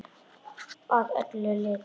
Að öllu leyti.